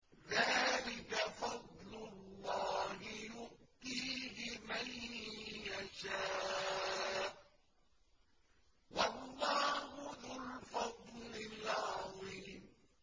ذَٰلِكَ فَضْلُ اللَّهِ يُؤْتِيهِ مَن يَشَاءُ ۚ وَاللَّهُ ذُو الْفَضْلِ الْعَظِيمِ